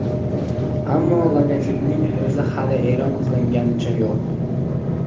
Ammo logotipning o‘zi hali e’lon qilinganicha yo‘q.